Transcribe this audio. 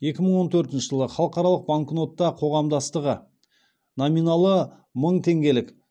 екі мың он төртінші жылы халықаралық банкнота қоғамдастығы номиналы мың теңгелік